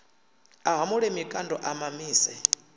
a hamule mikando a mamise